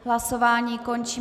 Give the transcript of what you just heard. Hlasování končím.